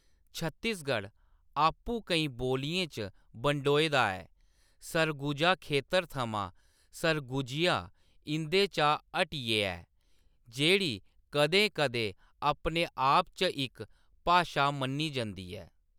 छत्तीसगढ़ आपूं केईं बोलियें च बंडोए दा ऐ, सरगुजा खेतर थमां सरगुजिया इंʼदे चा हटियै ऐ, जेह्‌‌ड़ी कदें-कदें अपने आप च इक भाशा मन्नी जंदी ऐ